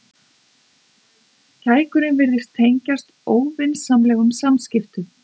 Kækurinn virtist tengjast óvinsamlegum samskiptum.